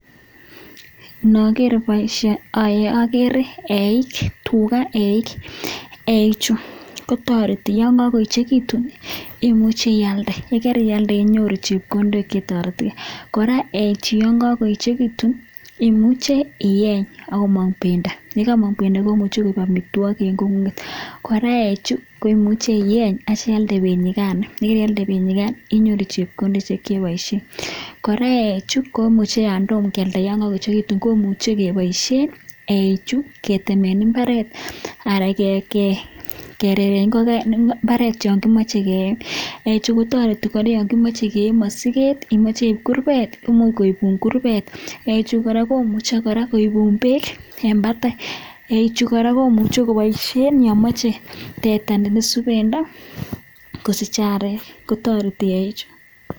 naager boishoni agere eiik tuga eiik kotyarii imuchii ialdee sinyoruu rapisheek yakealnde anan imuchii ialndee kwa pa keeny asikenyor pendo eiik chuu ko muchii kolamusikeet eii chuu kora komuchii kolany tuga chesupenweek